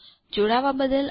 જોડાવા બદ્દલ આભાર